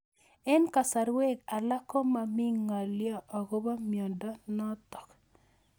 Eng'kasarwek alak ko mami ng'alyo akopo miondo notok